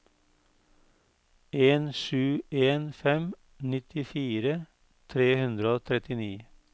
en sju en fem nittifire tre hundre og trettini